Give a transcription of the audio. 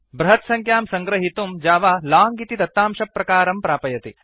बृहत्सङ्ख्यां सह्गृहीतुं Java long इति दत्तांशप्रकारं प्रापयति